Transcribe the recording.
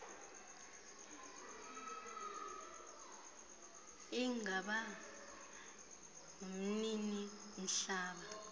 ingaba umnini mhlaba